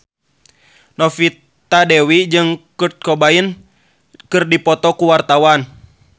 Novita Dewi jeung Kurt Cobain keur dipoto ku wartawan